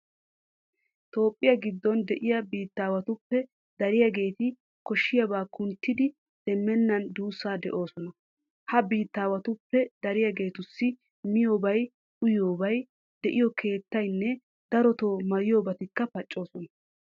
Toophphiya giddon de'iya biittaawatuppe dariyageeti koshshiyaba kunttidi demmenna duussaa de'oosona. Ha biittaawatuppe dariyageetussi miyobay uyiyobay, de'iyo keettaynne darotoo maayiyobatikka paccoosona.